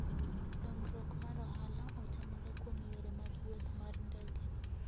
Dongruok mar ohala otenore kuom yore mag wuoth mar ndege.